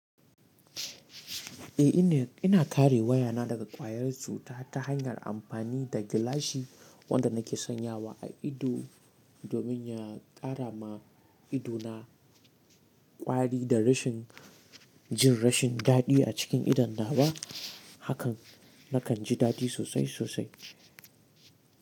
Eh ina, ina kare wayana daga ƙwayar cuta ta hanyar amfani da gilashi wanda nake sanyawa a ido domin ya ƙara ma idona ƙwari da rashin jin rashin daɗi a cikin idan na ba hakan nakan ji daɗi sosai sosai.